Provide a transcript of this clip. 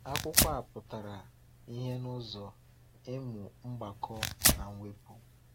Akwụkwọ a pụtara ìhè n’ụzọ ịmụ mgbakọ na mwepụ.